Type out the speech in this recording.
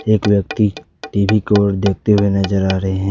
एक व्यक्ति टी_वी की ओर देखते हुए नजर आ रहे हैं।